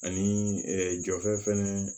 Ani jɔfɛn